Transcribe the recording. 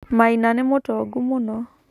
Maina nĩ mũtongu mũno.